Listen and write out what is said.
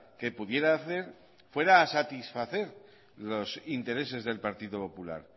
que pudiera hacer fuera a satisfacer los intereses del partido popular